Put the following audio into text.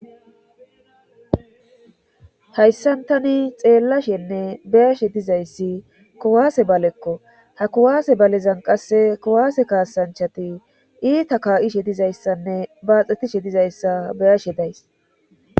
hayssan tani xeellashenne beyashe dizayssi kowaase balekko ha kuwaase balezan qasse kowaase kaasanchati iita kaa7ishe dizayssanne baaxetishe dizayssa beyashe days